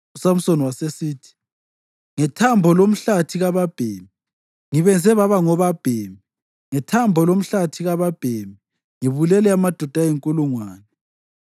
USamsoni wasesithi, “Ngethambo lomhlathi kababhemi, ngibenze baba ngobabhemi. Ngethambo lomhlathi kababhemi ngibulele amadoda ayinkulungwane.”